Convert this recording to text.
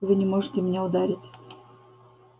вы не можете меня ударить